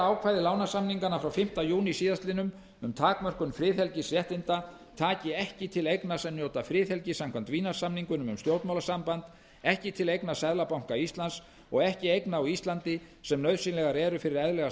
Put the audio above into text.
ákvæði lánasamninganna frá fimmta júní síðastliðinn um takmörkun friðhelgisréttinda taki ekki til eigna sem njóti friðhelgi samkvæmt vínarsamningnum um stjórnmálasamband eigna seðlabanka íslands og eigna á íslandi sem nauðsynlegar eru fyrir eðlilega